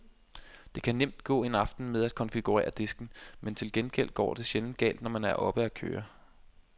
Der kan nemt gå en aften med at konfigurere disken, men til gengæld går det sjældent galt, når man er oppe og køre.